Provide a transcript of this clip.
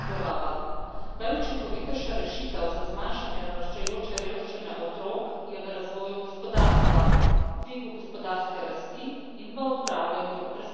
Najučinkovitejša rešitev za zmanjšanje naraščajoče revščine otrok je v razvoju gospodarstva, dvigu gospodarske rasti in v odpravljanju brezposelnosti.